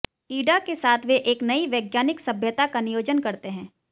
इड़ा के साथ वे एक नई वैज्ञानिक सभ्यता का नियोजन करते हैं